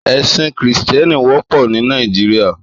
Èsín Kristièní wòpò ni Nàijiriá